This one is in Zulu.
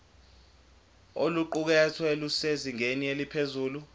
oluqukethwe lusezingeni eliphezulu